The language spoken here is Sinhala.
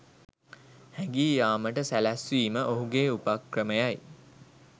හැඟී යාමට සැළැස්වීම ඔහුගේ උපක්‍රමයයි